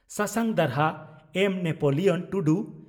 ᱥᱟᱥᱟᱝ ᱫᱟᱨᱦᱟ (ᱮᱢᱹ ᱱᱮᱯᱚᱞᱤᱭᱚᱱ ᱴᱩᱰᱩ)